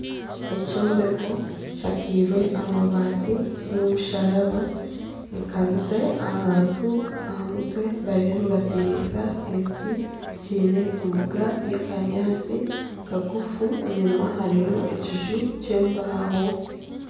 Ekyombeko kishakairwe amabaati kiine omusharaba n'ekanisa abantu aha mutwe bariyo nibatereeza ebiti kiine embuga y'akanyaatsi kagufu enyuma hariyo ekiju ky'embaho.